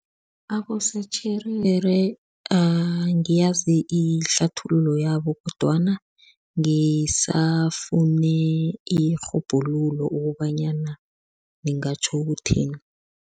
Abosotjherere angiyazi ihlathululo yabo kodwana ngisafune irhubhululo ukobanyana lingatjho ukuthini.